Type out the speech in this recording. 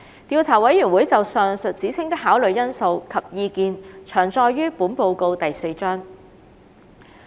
調查委員會就上述指稱的考慮因素及意見詳載於本報告第4章。